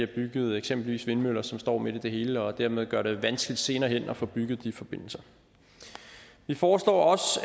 bygget eksempelvis vindmøller som står midt i det hele og dermed gør det vanskeligt senere hen at få bygget de forbindelser vi foreslår også